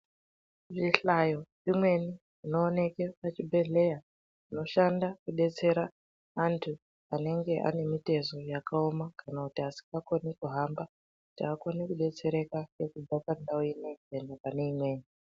Zvihlayo zvimweni zvinoshandiswa muzvibhedhlera zoshanda anenge ane mitezo yakaoma vanotaswa kuti vanogona kudetsereka kubva pandau imweni kuenda pamweni.